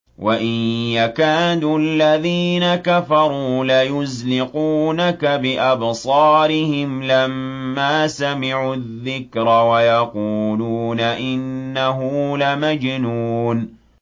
وَإِن يَكَادُ الَّذِينَ كَفَرُوا لَيُزْلِقُونَكَ بِأَبْصَارِهِمْ لَمَّا سَمِعُوا الذِّكْرَ وَيَقُولُونَ إِنَّهُ لَمَجْنُونٌ